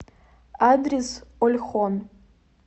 адрес ольхон